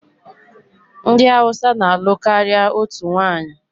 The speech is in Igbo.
Ndị Hausa na-alụ karịa otu nwanyị.